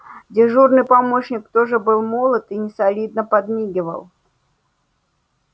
дежурный помощник тоже был молод и несолидно подмигивал